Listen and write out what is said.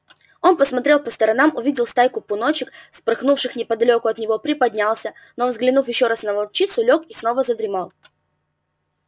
он посмотрел по сторонам увидел стайку пуночек вспорхнувших неподалёку от него приподнялся но взглянув ещё раз на волчицу лёг и снова задремал